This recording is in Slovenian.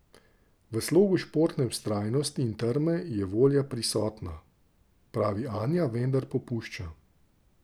V slogu športne vztrajnosti in trme je volja prisotna, pravi Anja, vendar popušča.